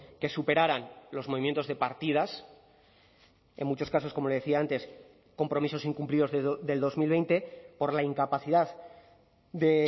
que superaran los movimientos de partidas en muchos casos como le decía antes compromisos incumplidos del dos mil veinte por la incapacidad de